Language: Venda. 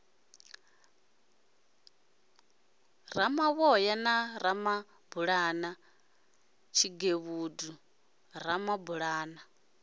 ramavhoya na ramabulana tshigevhedu ramabulana